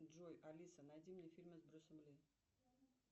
джой алиса найди мне фильмы с брюсом ли